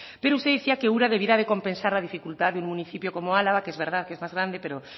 pero usted decía que ura debiera de compensar la dificultad de un municipio como álava que es verdad que es más grande pero